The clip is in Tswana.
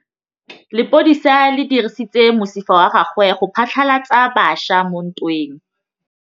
Lepodisa le dirisitse mosifa wa gagwe go phatlalatsa batšha mo ntweng.